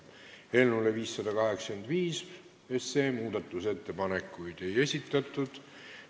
Eelnõu 585 kohta muudatusettepanekuid ei esitatud.